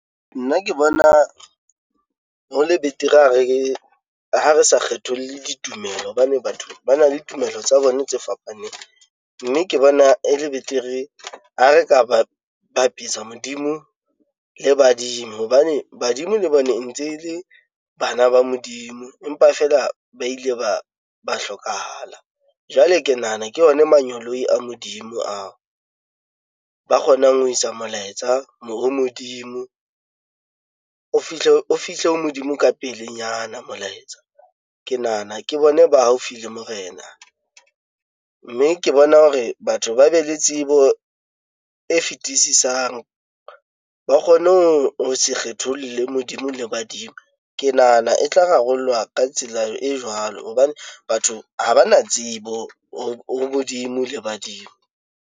Nna ke bona ho le betere ha re ha re sa kgetholle ditumelo hobane batho ba na le tumelo tsa bona tse fapaneng. Mme ke bona e le betere ha re ka ba bapisa Modimo le badimo, hobane badimo le bone e ntse le bana ba Modimo. Empa feela ba ile ba ba hlokahala, jwale ke nahana ke ona manyeloi a Modimo ao ba kgonang ho isa molaetsa Modimo. O fihle o fihle ho Modimo ka pelenyana molaetsa. Ke nahana ke bone ba haufi le morena, mme ke bona hore batho ba be le tsebo e fetisisang, ba kgone ho se kgetholle Modimo le badimo ke nahana e tla rarollwa ka tsela e jwalo. Hobane batho ha ba na tsebo ho Modimo le badimo.